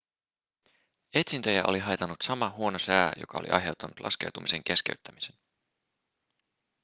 etsintöjä oli haitannut sama huono sää joka oli aiheuttanut laskeutumisen keskeyttämisen